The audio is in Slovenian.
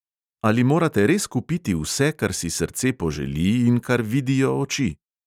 Ali morate res kupiti vse, kar si srce poželi in kar vidijo oči?